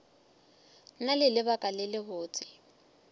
na le lebaka le lebotse